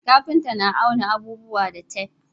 kafinta na auna abubuwa da tef